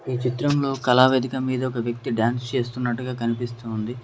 ఈ చిత్రంలో కళా వేదిక మీద ఒక వ్యక్తి డాన్స్ చేస్తున్నట్టుగా కనిపిస్తుంది.